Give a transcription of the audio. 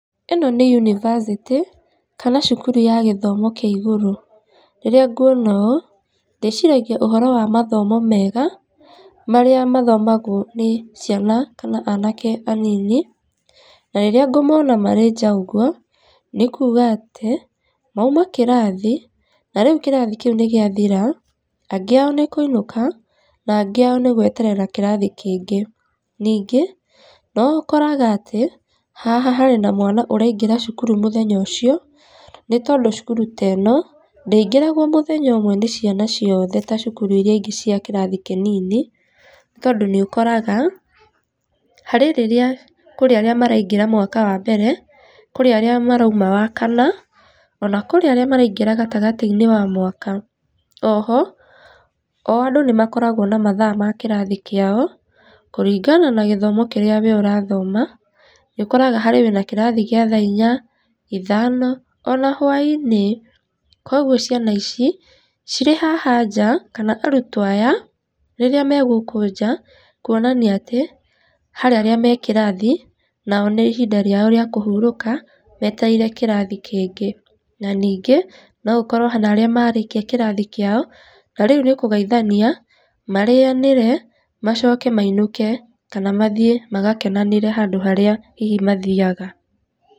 Ĩno nĩ unibacĩtĩ, kana cukuru ya gĩthomo kĩa ĩgũrũ. Rĩrĩa ngũona ũũ ndĩciragia ũhoro wa mathomo mega marĩa mathomagwo nĩ ciana kana anake anyinyi na rĩrĩa ngũmona marĩ njaa ũguo nĩ kuga atĩ mauma kĩrathi na rĩu kĩrathi kĩu nĩ gĩathira angĩ ao nĩ kũinũka na angĩ ao nĩ gũeterera kĩrathi kĩngĩ. Ningĩ no ũkoraga atĩ, haha harĩ na mwana ũraingĩra cukuru mũthenya ũcio nĩ tondũ cukuru ta ĩno ndĩingĩragũo mũthenya ũmwe nĩ ciana ciothe ta cukuru iria ingĩ cia kĩrathi kĩnini, nĩ tondũ nĩ ũkoraga harĩ rĩrĩa, kũrĩ arĩa maraingĩra mwaka wa mbere, kũrĩ arĩa marauma wa kana ona kũrĩ arĩa maingĩra gatagatĩ-inĩ wa mwaka. Oho o andũ nĩ makoragwo na mathaa ma kĩrathi kĩao kũringana na gĩthomo kĩrĩa we ũrathoma, nĩ ũkoraga harĩ wĩ na kĩrathi gĩa thaa ĩnya, ithano ona hwaĩ-inĩ, koguo ciana ici cirĩ haha njaa kana arutwo aya rĩrĩa me gũkũ njaa kũonania atĩ harĩ arĩa me kĩrathi nao nĩ ihinda rĩao rĩa kũhurũka meterire kĩrathi kĩngĩ. Na ningĩ no ũkorwo na arĩa marĩkia kĩrathi kĩao na rĩu nĩ kũgeithania, marĩanĩre macoke mainũke macoke mathĩe magakenanĩre handũ harĩa hihi mathiaga.